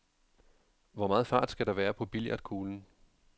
Hvor meget fart skal der være på billiardkuglen?